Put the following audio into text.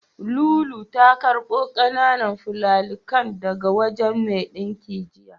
Lulu ta karɓo ƙananan fulallikan daga wajen mai ɗinkin jiya.